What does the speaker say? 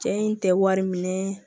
Cɛ in tɛ wari minɛ